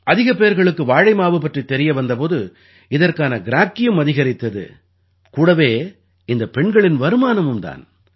அதிக பேர்களுக்கு வாழை மாவு பற்றித் தெரிய வந்த போது இதற்கான கிராக்கியும் அதிகரித்தது கூடவே இந்தப் பெண்களின் வருமானமும் தான்